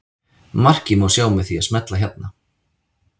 Markið má sjá með því að smella hérna.